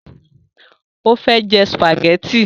Ó fẹ́ jẹ sùpàgẹ́tì